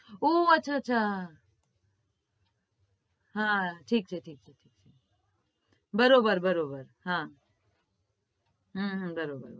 ઉહ અચ્છા અચ્છા હા ઠીક છે ઠીક છે ઠીક છે બરોબર બરોબર હા હમ હમ બરોબર